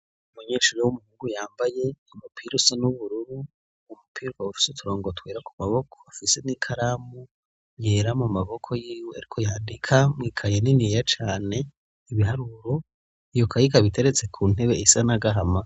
Umunyeshuri w'umuhungu yambaye imupira usa n'ubururu, umupira ukaba ufise uturongo twera ku maboko. Afise n'ikaramu yera mu maboko yiwe ariko yadika mw' ikaye niniya cane ibiharuro, iyo kaye ikaba iteretse ku ntebe isa n' agahama.